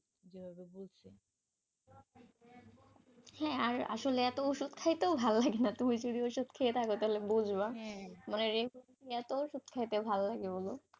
হ্যাঁ আর আসলে এত ওষুধ খাইতো, ভালো লাগে না তুমি যদি ওষুধ খেয়ে থাক তাহলে বুঝবা, মানে এত ওষুধ খাইতে কি আর ভাল লাগে বল?